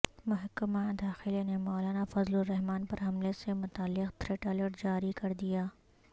محکمہ داخلہ نے مولانا فضل الرحمان پر حملے سے متعلق تھریٹ الرٹ جاری کردیا